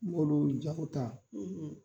N b'olu jaw ta